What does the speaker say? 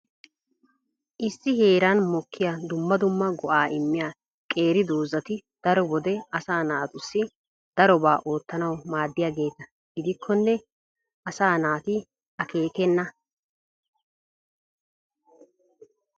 Issi heeran mokkiya dumma dumma go"a immiya qeeri doozati daro wode asaa naatussi darobaa oottanaw maaddiyaageeta gidikkonne asaa naati akkeekena.